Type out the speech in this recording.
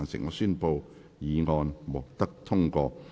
我宣布議案獲得通過。